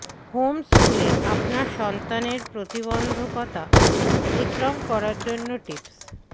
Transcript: Holmes স্কুলে আপনার সন্তানের প্রতিবন্ধকতা অতিক্রম করার জন্য টিপস